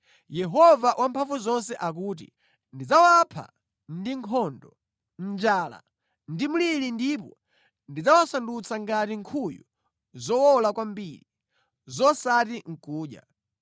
Yehova Wamphamvuzonse akuti, “Ndidzawapha ndi nkhondo, njala ndi mliri ndipo ndidzawasandutsa ngati nkhuyu zowola kwambiri, zosati nʼkudya.